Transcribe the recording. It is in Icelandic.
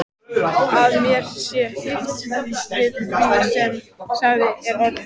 Að mér sé hlíft við því sem þegar er orðið.